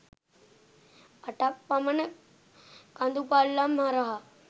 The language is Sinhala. අටක් පමණ කඳු පල්ලම් හරහා